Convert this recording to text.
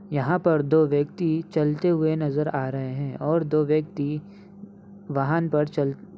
यहाँ पर दो व्यक्ति चलते हुए नजर आ रहे हैं और दो व्यक्ति वाहन पर चल --